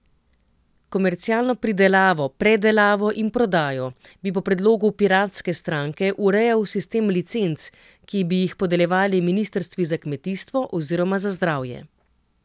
Komercialno pridelavo, predelavo in prodajo bi po predlogu Piratske stranke urejal sistem licenc, ki bi jih podeljevali ministrstvi za kmetijstvo oziroma za zdravje.